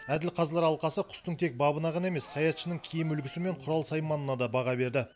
әділ қазылар алқасы құстың тек бабына ғана емес саятшының киім үлгісі мен құрал сайманына да баға берді